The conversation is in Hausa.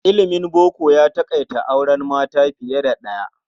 Ilimin boko ya taƙaita auren mata fiye da ɗaya.